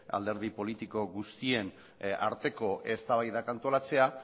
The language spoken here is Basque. alderdi politiko guztien arteko eztabaidak antolatzea